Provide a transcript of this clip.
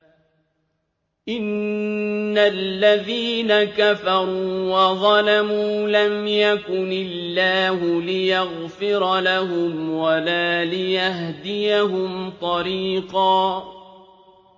إِنَّ الَّذِينَ كَفَرُوا وَظَلَمُوا لَمْ يَكُنِ اللَّهُ لِيَغْفِرَ لَهُمْ وَلَا لِيَهْدِيَهُمْ طَرِيقًا